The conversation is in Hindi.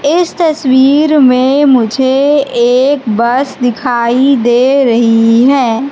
इस तस्वीर में मुझे एक बस दिखाई दे रही है।